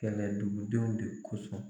Kɛlɛ dugu denw de kosɔn.